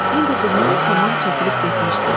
İndi duman tamam çəkilib getmişdi.